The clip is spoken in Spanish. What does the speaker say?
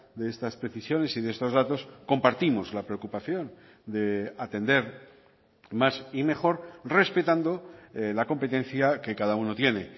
de estas precisiones y de estos datos compartimos la preocupación de atender más y mejor respetando la competencia que cada uno tiene